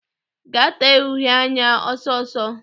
Gaa tee uhe anya ọsọ ọsọ!